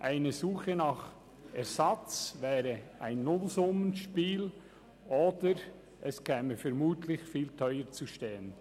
Die Suche nach einem Ersatz wäre ein Nullsummenspiel oder käme vermutlich viel teurer zu stehen.